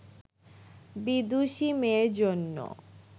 বিদুষী মেয়ের জন্য